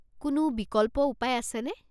কোনো বিকল্প উপায় আছেনে?